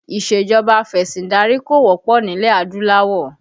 Isejọba afesindari kò wọ́pọ̀ nílẹ̀ adúláwọ̀